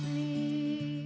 í